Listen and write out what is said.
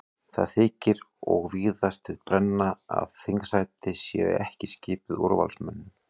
Það þykir og víðast við brenna að þingsætin séu ekki skipuð úrvalsmönnum.